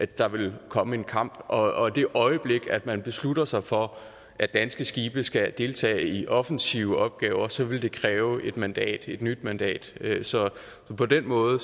der ville komme en kamp og i det øjeblik at man beslutter sig for at danske skibe skal deltage i offensive opgaver så ville det kræve et mandat et nyt mandat så på den måde